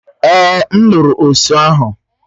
Èè, m lụrụ osụ ahu